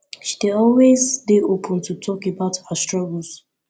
she dey always dey open to talk about her struggles